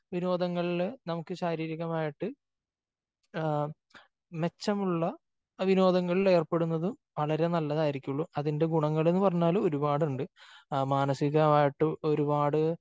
വിനോദങ്ങളില് നമുക്ക് ശാരീരികമായിട്ട് മെച്ചമുള്ള വിനോദങ്ങളിൽ എറപ്പെടുന്നത് വളരെ നല്ലതായിരിക്കുള്ളൂ. അതിന്റെ നല്ല ഗുണങ്ങൾ എന്ന് പറഞ്ഞാല് ഒരുപാടുണ്ട്. മാനസികമായിട്ട് ഒരുപാട്